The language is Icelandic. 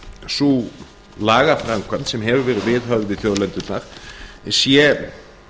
sú lagaframkvæmd sem verið hefur viðhöfð við þjóðlendurnar sé